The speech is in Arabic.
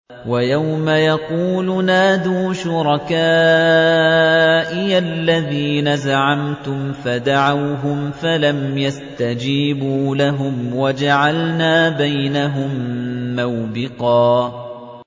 وَيَوْمَ يَقُولُ نَادُوا شُرَكَائِيَ الَّذِينَ زَعَمْتُمْ فَدَعَوْهُمْ فَلَمْ يَسْتَجِيبُوا لَهُمْ وَجَعَلْنَا بَيْنَهُم مَّوْبِقًا